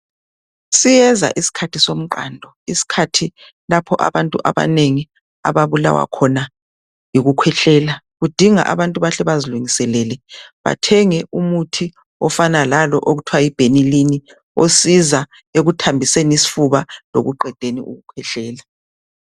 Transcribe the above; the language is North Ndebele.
Siyeza isikhathi somqando. Isikhathi lapho abantu abanengi ababulawa khona yikukhwehlela. Kudinga ukuthi abantu bahle bazilungiselele bathenge umuthi okufana lalo okuthiwa yi benylin osiza ekuthambiseni isifuba lekuqedeni ukukhwehlela.